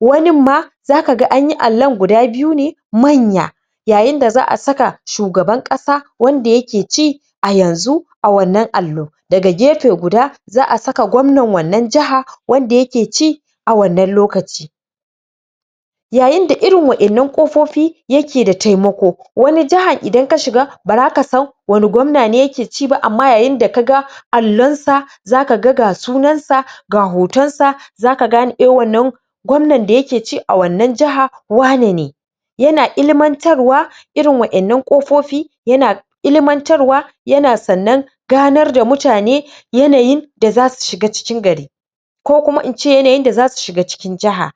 wanin ma zaka ga anyi allon guda biyu ne manya yayin da za'a saka shugaban ƙasa wannan yake ci a yanzu a wannan Allo a gefe guda za'a saka gwamnan wanna jiha wanda yake ci a wannan lokaci yayin da irin waɗannan ƙofofi yake da taimako wani jiha idan ka shiga ba zaka san wanne gwamna ne yake ci ba, amma yayin da kaga Allon sa za kaga ga sunan sa ga hoton sa zaka gane eh wannan gwamnan da yake ci a wannan jiha wane ne yana ilimantarwa irin wa'yan nan ƙofofi yana ilimantarwa yana sannan ganar da mutane yanayin da zasu shiga cikin gari ko kuma in ce yanayin da zasu shiga cikin jiha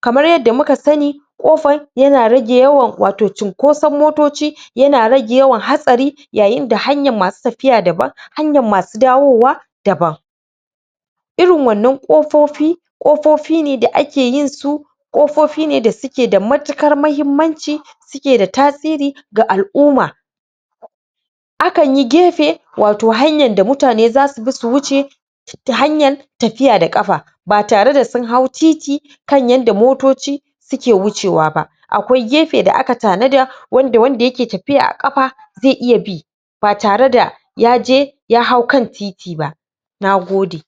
kamar yadda muka sani ƙofar yana rage yawan wato cunkoson motoci yana rage yawan hatsari yayin da hanyar masu tafiya daban hanyr masu dawowa daban irin wannan ƙofofi ƙofofin ne da ake yin su ƙofofi ne da suke da matuƙar mahimmanci suke da tasiri ga Al'umma akan yi gefe wato hanyar da mutane zasu bi su wuce ta hanyar tafiya da ƙafa ba tare da sun hau titi kan yadda motoci suke wucewa ba akwai gefe da aka tanada wanda wanda ke tafiya a ƙafa zai iya bi ba tare da yaje ya hau kan titi ba nagode